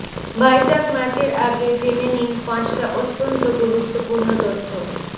ভাইজাগ ম্যাচের আগে জেনে নিন পাঁচটা অত্যন্ত গুরুত্বপূর্ণ তথ্য